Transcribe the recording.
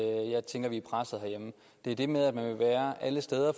er det med at man vil være alle steder